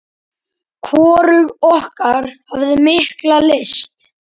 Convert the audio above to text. Hvorug okkar hafði mikla lyst.